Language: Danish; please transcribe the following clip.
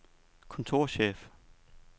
kontorchef